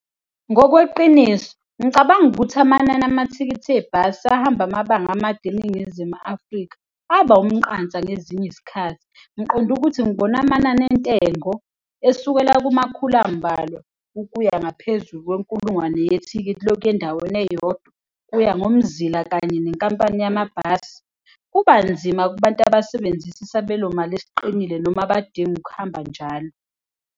Ngokweqiniso, ngicabanga ukuthi amanani amathikithi ebhasi ahamba amabanga amade eNingizimu Afrika aba umqansa ngezinye izikhathi. Ngiqonde ukuthi ngibone amanani entengo esukela kumakhulu ambalwa ukuya ngaphezu kwenkulungwane yethikithi lokuya endaweni eyodwa kuya ngomzila kanye nenkampani yamabhasi. Kuba nzima kubantu abasebenzisa isabelomali esiqinile noma abadinga ukuhamba njalo.